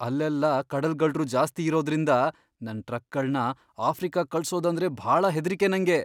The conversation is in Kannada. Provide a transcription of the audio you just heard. ಅಲ್ಲೆಲ್ಲ ಕಡಲ್ಗಳ್ರು ಜಾಸ್ತಿ ಇರೋದ್ರಿಂದ ನನ್ ಟ್ರಕ್ಗಳ್ನ ಆಫ್ರಿಕಾಗ್ ಕಳ್ಸೋದಂದ್ರೆ ಭಾಳ ಹೆದ್ರಿಕೆ ನಂಗೆ.